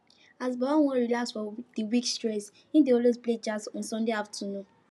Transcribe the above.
as baba wan relax from the week stress e dey always play jazz on sunday afternoons